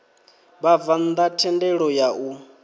vhabvann ḓa thendelo ya u